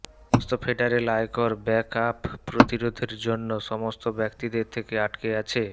সমস্ত ফেডারেল আয়কর back up প্রতিরোধের জন্য সমস্ত ব্যক্তিদের থেকে আটকে আছে